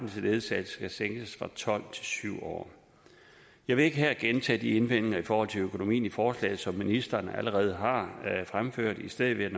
til ledsagelse sænkes fra tolv til syv år jeg vil ikke her gentage de indvendinger i forhold til økonomien i forslaget som ministeren allerede har fremført i stedet vil